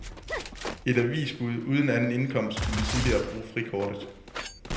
Et avisbud uden anden indkomst kunne tidligere bruge frikortet.